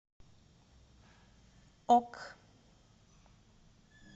ок